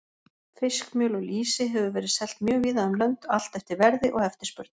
Fiskmjöl og lýsi hefur verið selt mjög víða um lönd, allt eftir verði og eftirspurn.